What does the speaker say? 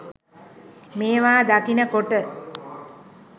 මේවා දකින කොට.